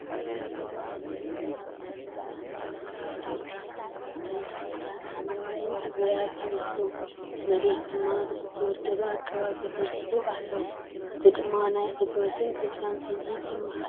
እዚ ዝተተኽለን ማይ ዝዓሰሎን ግራት የርኢ። እቶም ተኽልታት ሓምላይን ጥዑያትን ይመስሉ፣ እቲ መሬት ድማ ብዝተወደበ ኣገባብ ተዘርጊሑ ኣሎ። እዚ ደማ ናይ ዕግበትን ተስፋን ስምዒት የመሓላልፍ።